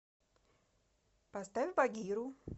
поставь багиру